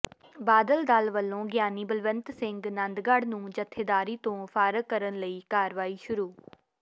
ਬਾਦਲ ਦਲ ਵੱਲੋਂ ਗਿਆਨੀ ਬਲਵੰਤ ਸਿੰਘ ਨੰਦਗੜ੍ਹ ਨੂੰ ਜੱਥੇਦਾਰੀ ਤੋਂ ਫਾਰਗ ਕਰਨ ਲਈ ਕਾਰਵਾਈ ਸ਼ੁਰੂ